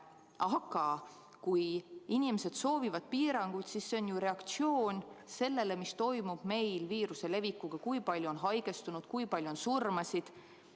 Aga kui inimesed soovivad piiranguid, siis see on reaktsioon sellele, mis toimub meil viiruse levikuga: kui palju on haigestunud, kui palju on surmasid.